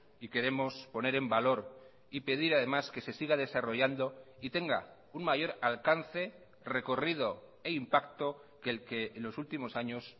y queremos poner en valor y pedir además que se siga desarrollando y tenga un mayor alcance recorrido e impacto que el que en los últimos años